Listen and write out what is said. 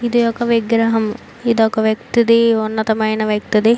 ఇది ఒక విగ్రహము ఇది ఒక వ్యక్తి ధీ ఉన్నతమైన వ్యక్తిది.